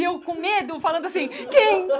E eu com medo, falando assim... Quem?